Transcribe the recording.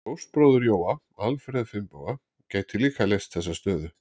Fóstbróðir Jóa, Alfreð Finnboga, gæti líka leyst þessa stöðu.